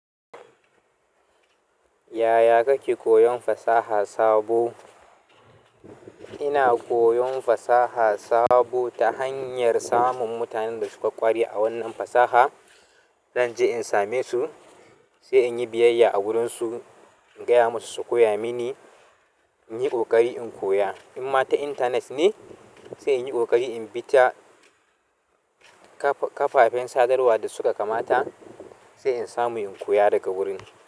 Yaya kake koyon fasaha sabo? Ina koyon fasaha sabo ta hanyar samun mutanen da suka ƙware a wannan fasaha. Zan je in same su, sai in yi biyayya a wurinsu, in gaya musu su koya mini, in yi ƙoƙari in koya. In ma ta intanet ne, sai in yi ƙoƙari in bi ta kafafen sadarwa da suka kamata, sai in samu in koya daga wurin.